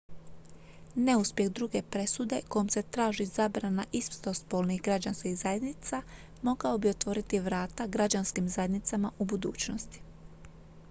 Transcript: neuspjeh druge presude kojom se traži zabrana istospolnih građanskih zajednica mogao bi otvoriti vrata građanskim zajednicama u budućnosti